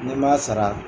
N'i ma sara